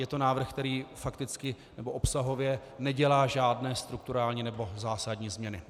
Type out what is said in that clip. Je to návrh, který fakticky nebo obsahově nedělá žádné strukturální nebo zásadní změny.